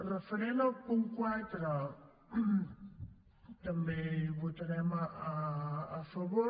referent al punt quatre també hi votarem a favor